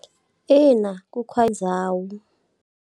Ina, ku .